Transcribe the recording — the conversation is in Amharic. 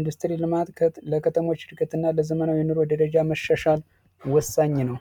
ኢንዱስትሪ ልማት ለከተሞች ለዘመናዊ ደረጃ መሸሻል ወሳኝ ነው።